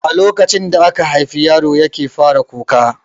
A lokacin da aka haifi yaro yake fara kuka